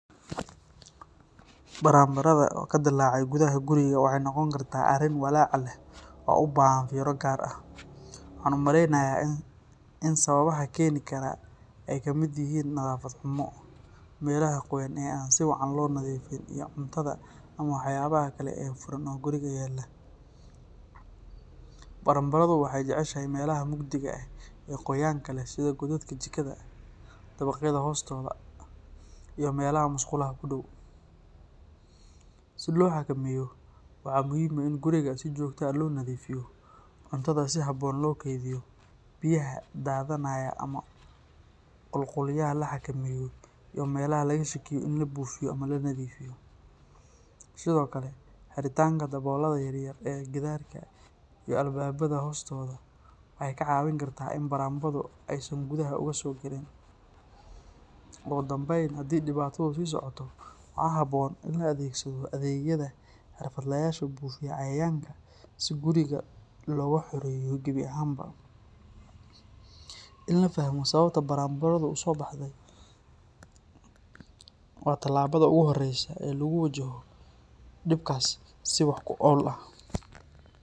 Baranbaradha oo ka dilaaca gudaha guriga waxay noqon kartaa arrin walaac leh oo u baahan fiiro gaar ah. Waxaan u maleynayaa in sababaha keeni kara ay ka mid yihiin nadaafad xumo, meelaha qoyan ee aan si fiican loo nadiifin, iyo cuntada ama waxyaabaha kale ee furan oo guriga yaalla. Baranbaradhu waxay jeceshahay meelaha mugdiga ah ee qoyaanka leh sida godadka jikada, dabaqyada hoostooda, iyo meelaha musqulaha ku dhow. Si loo xakameeyo, waxaa muhiim ah in guriga si joogto ah loo nadiifiyo, cuntada si habboon loo kaydiyo, biyaha daadanaya ama qulqulaya la xakameeyo, iyo meelaha laga shakiyo in la buufiyo ama la nadiifiyo. Sidoo kale, xiritaanka daloolada yaryar ee gidaarka iyo albaabada hoostooda waxay kaa caawin kartaa in baranbaradhu aysan gudaha uga soo galin. Ugu dambeyn, haddii dhibaatadu sii socoto, waxaa habboon in la adeegsado adeegyada xirfadlayaasha buufiya cayayaanka si guriga looga xoreeyo gebi ahaanba. In la fahmo sababta baranbaradhu u soo baxday waa tallaabada ugu horreysa ee lagu wajahayo dhibkaas si wax ku ool ah.